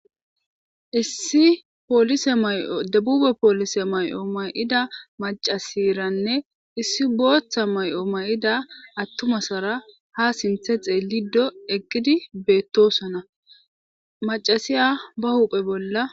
Issi oliemyodebube poolise may'o may'ida macasiranne issi booththa may'o may'ida attumasara ha sinthe xeelido eggidi beettosona macasiya ba huphe bolla.